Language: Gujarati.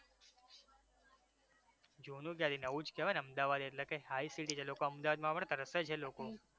જુનુ ક્યાથી નવુ જ કહેવાય ને? અમદાવાદ એટલે કાઈ સારી city છે લોકો અમદાવાદ આવવા માટે તરસે છે લોકો